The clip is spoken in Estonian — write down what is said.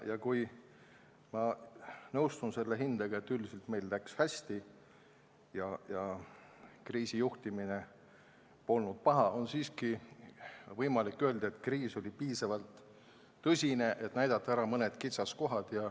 Ja kuigi ma nõustun hinnanguga, et üldiselt läks meil hästi ja kriisijuhtimine polnud paha, on siiski võimalik öelda, et see kriis oli piisavalt tõsine, et näidata ära mõned kitsaskohad.